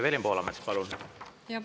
Evelin Poolamets, palun!